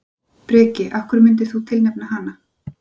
Breki: Af hverju myndir þú tilnefna hana?